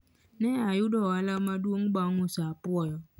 ne oyudo ohala maduong bang uso apuoyo